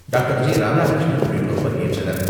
Doctor. G Radhakrishnan உள்ளிட்டோர் பங்கேற்றனர்.